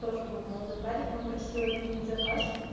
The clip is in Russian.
тоже был молодой парень он просил отменить заказ